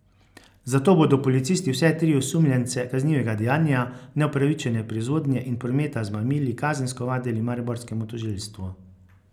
Zato bodo policisti vse tri osumljence kaznivega dejanja neupravičene proizvodnje in prometa z mamili kazensko ovadili mariborskemu tožilstvu.